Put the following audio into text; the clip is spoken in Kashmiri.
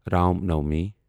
رام نوامی